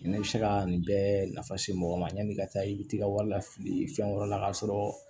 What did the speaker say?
Ne bɛ se ka nin bɛɛ nafa se mɔgɔ ma yan'i ka taa i bɛ t'i ka wari lafili fɛn wɛrɛ la k'a sɔrɔ